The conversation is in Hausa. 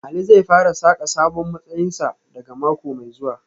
Ali zai fara saka sabon matsayinsa daga mako mai zuwa